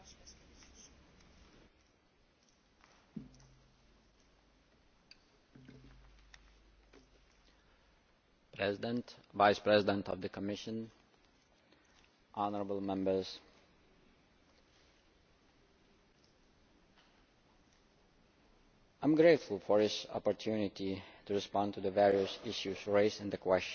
Madam President, Vice President of the Commission, honourable Members, I am grateful for this opportunity to respond to the various issues raised in the question